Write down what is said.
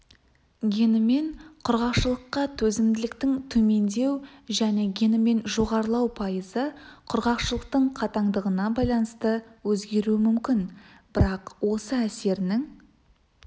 генімен құрғақшылыққа төзімділіктің төмендеу және генімен жоғарылау пайызы құрғақшылықтың қатаңдығына байланысты өзгеруі мүмкін бірақ осы әсерінің